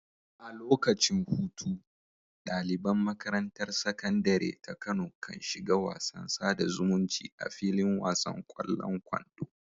A lokacin hutu, ɗaliban makarantar Sakandare ta Kano kan shiga wasan sada zumunci a filin wasan ƙwallon kwando.